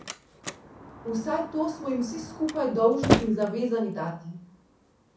Vsaj to smo jim vsi skupaj dolžni in zavezani dati.